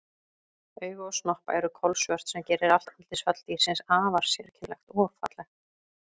Augu og snoppa eru kolsvört sem gerir allt andlitsfall dýrsins afar sérkennilegt og fallegt.